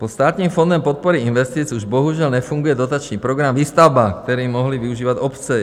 Pod Státním fondem podpory investic už bohužel nefunguje dotační program Výstavba, který mohly využívat obce.